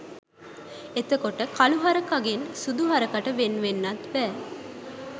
එතකොට කලු හරකගෙන් සුදු හරකට වෙන්වෙන්නත් බෑ